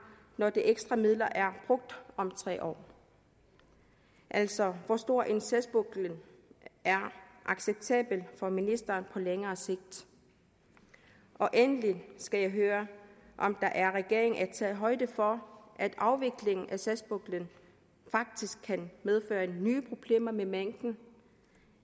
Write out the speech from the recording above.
når de ekstra midler er brugt om tre år altså hvor stor en sagspukkel er acceptabel for ministeren på længere sigt og endelig skal jeg høre om regeringen har taget højde for at afviklingen af sagspuklen faktisk kan medføre nye problemer med mængden